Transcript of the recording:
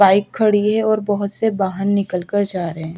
bike खड़ी है और बहोत से बाहन निकाल कर जा रहें--